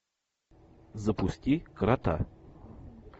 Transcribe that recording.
запусти крота